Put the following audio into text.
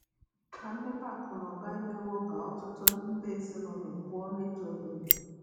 Na mmepe akụ na ụba emewo ka um ọtụtụ nde ezinụlọ pụọ na ịda ogbenye.